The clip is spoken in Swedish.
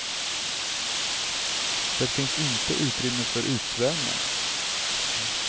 Det finns inte utrymme fär utsvävningar.